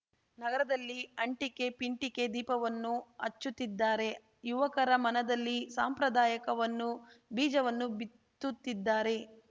ನಗರದಲ್ಲಿ ಅಂಟಿಕೆ ಪಿಂಟಿಕೆ ದೀಪವನ್ನು ಹಚ್ಚುತ್ತಿದ್ದಾರೆ ಯುವಕರ ಮನದಲ್ಲಿ ಸಂಪ್ರದಾಯಕವನ್ನು ಬೀಜವನ್ನು ಬಿತ್ತುತ್ತಿದ್ದಾರೆ